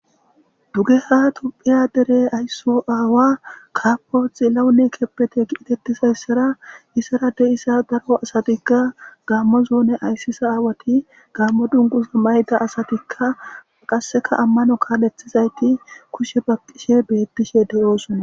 Dugeha dere tophiya ayso aawa kapo xilahun kebede getetizaysara izara de'iza daro asatika gaamo zone aysiza aawat gaamo dunguza mayida asatika qaseka amano kalethizayt kushe baqishe betishe de'osona.